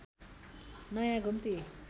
नयाँ घुम्ती